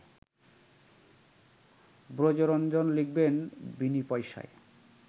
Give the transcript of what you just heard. ব্রজরঞ্জন লিখবেন বিনিপয়সায়